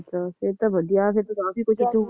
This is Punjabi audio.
ਅੱਛਾ ਫੇਰ ਤਾਂ ਵਧੀਆ ਫੇਰ ਤਾਂ ਕਾਫੀ ਕੁਝ